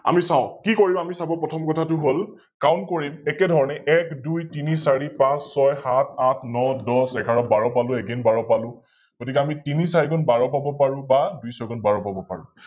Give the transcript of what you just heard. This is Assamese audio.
আমি চাও, কি কৰিম আমি চাব প্ৰথম কথাতো হল Count কৰিম, একেধৰণে এক, দুই, তিনি, চাৰি, পাচ, ছয়. সাত, আঠ, ন, দশ, এঘাৰ, বাৰ পালো, Again বাৰ পালো, গতিকে আমি তিনি চাৰি গুণ বাৰ পাব পাৰো বা দুই ছয় গুণ বাৰ পাব পাৰো,